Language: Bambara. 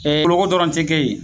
Ɛ nkoronko dɔrɔnw tɛ kɛ yen.